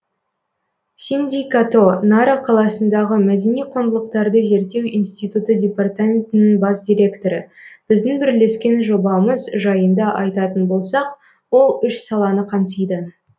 синдзи като нара қаласындағы мәдени құндылықтарды зерттеу институты департаментінің бас директоры біздің бірлескен жобамыз жайында айтатын болсақ ол үш саланы қамтиды